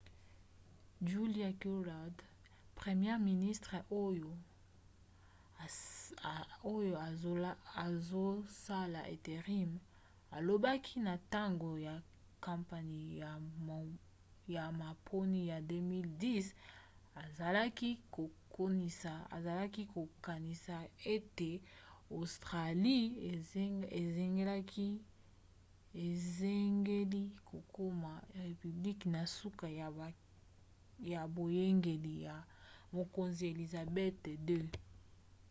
julia gillard première ministre oyo azosala intérim alobaki na ntango ya kampanie ya maponi ya 2010 azalaki kokanisa ete australie esengeli kokoma république na suka ya boyangeli ya mokonzi elizabeth ii